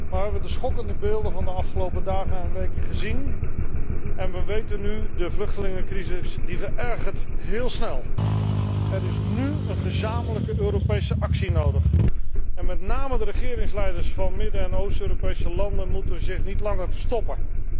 Wij hebben de schokkende beelden van de afgelopen dagen en weken gezien en we weten nu de vluchtelingencrisis verergert heel snel! Er is nú een gezamenlijke Europese actie nodig, en met name de regeringsleiders van Midden en Oost Europese landen moeten zich niet langer verstoppen.